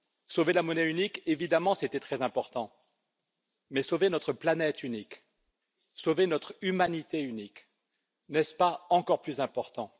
Sauver la monnaie unique, évidemment, c'était très important, mais sauver notre planète unique, sauver notre humanité unique, n'est ce pas encore plus important?